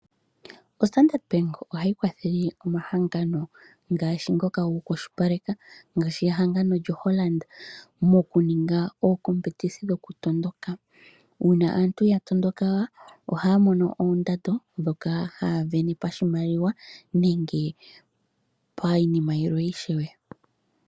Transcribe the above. O Standard Bank ohayi kwathele omahangano ngaashi ngoka goku kwashilipaleka ngaashi ehangano lyo Hollard mokuninga oo competisi dhoku tondoka. Uuna aantu ya tondoka ohaya mono oondando dhoka haya vene pa shimaliwa nenge pa iinima yilwe ishewe.